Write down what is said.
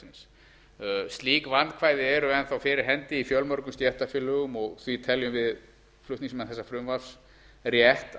verkalýðsfélaga slík vandkvæði eru enn þá fyrir hendi í fjölmörgum stéttarfélögum og því teljum við flutningsmenn þessa frumvarps rétt